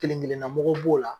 Kelen kelenna mɔgɔ b'o la